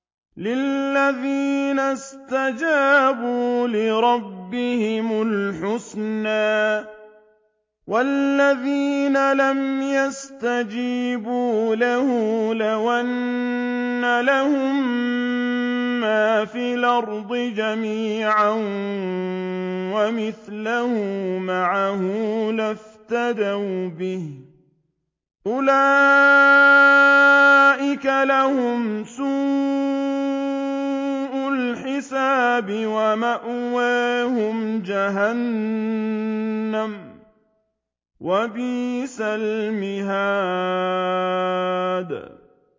لِلَّذِينَ اسْتَجَابُوا لِرَبِّهِمُ الْحُسْنَىٰ ۚ وَالَّذِينَ لَمْ يَسْتَجِيبُوا لَهُ لَوْ أَنَّ لَهُم مَّا فِي الْأَرْضِ جَمِيعًا وَمِثْلَهُ مَعَهُ لَافْتَدَوْا بِهِ ۚ أُولَٰئِكَ لَهُمْ سُوءُ الْحِسَابِ وَمَأْوَاهُمْ جَهَنَّمُ ۖ وَبِئْسَ الْمِهَادُ